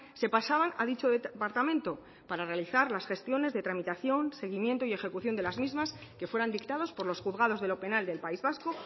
se pasaban a dicho departamento para realizar las gestiones de tramitación seguimiento y ejecución de las mismas que fueran dictados por los juzgados de lo penal del país vasco